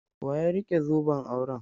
Wa ya rike zoben auren?